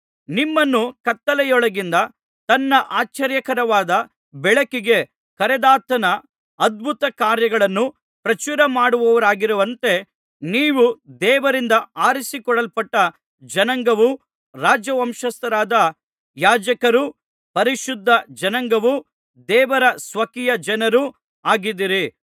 ನಿಮ್ಮನ್ನು ಕತ್ತಲೆಯೊಳಗಿನಿಂದ ತನ್ನ ಆಶ್ಚರ್ಯಕರವಾದ ಬೆಳಕಿಗೆ ಕರೆದಾತನ ಅದ್ಭುತಕಾರ್ಯಗಳನ್ನು ಪ್ರಚಾರಮಾಡುವವರಾಗುವಂತೆ ನೀವು ದೇವರಿಂದ ಆರಿಸಿಕೊಳ್ಳಲ್ಪಟ್ಟ ಜನಾಂಗವೂ ರಾಜವಂಶಸ್ಥರಾದ ಯಾಜಕರೂ ಪರಿಶುದ್ಧ ಜನಾಂಗವೂ ದೇವರ ಸ್ವಕೀಯ ಜನರೂ ಆಗಿದ್ದೀರಿ